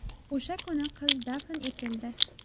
O‘sha kuni qiz dafn etildi.